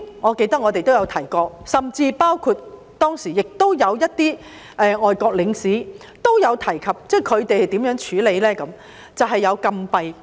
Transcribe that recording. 我記得我們曾經提及，甚至當時一些外國領事也提及他們如何處理非法入境者，就是設立禁閉式收容中心。